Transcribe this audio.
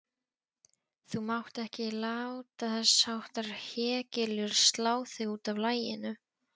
Þú mátt ekki láta þessháttar hégiljur slá þig útaf laginu.